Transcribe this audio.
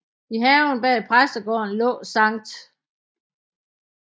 I haven bag præstegården lå Skt